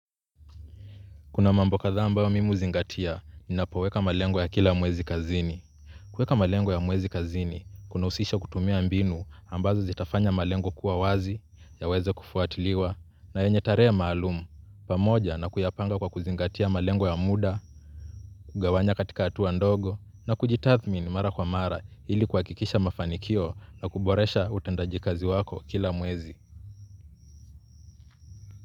Kuna mambo kadhaa ambayo mimi huzingatia, ninapoweka malengo ya kila mwezi kazini. Kueka malengo ya mwezi kazini, kunausisha kutumia mbinu ambazo zitafanya malengo kuwa wazi, yaweze kufuatiliwa, na yenye tarehe maalum, pamoja na kuyapanga kwa kuzingatia malengo ya muda, kugawanya katika atuwa ndogo, na kujitathmini mara kwa mara hili kuakikisha mafanikio na kuboresha utendaji kazi wako kila mwezi.